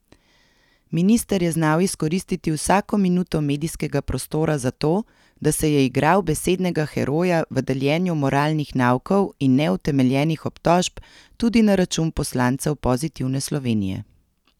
Minister je znal izkoristiti vsako minuto medijskega prostora zato, da se je igral besednega heroja v deljenju moralnih naukov in neutemeljenih obtožb tudi na račun poslancev Pozitivne Slovenije.